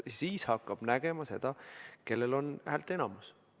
Siis hakkab nägema seda, kellel on häälteenamus.